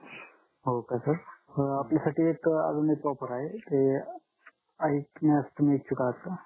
हो का सर आपल्या साठी एक अजून एक ऑफर आहे ते ऐकण्यास तुम्ही इच्छुक आहात का